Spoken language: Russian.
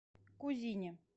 кузине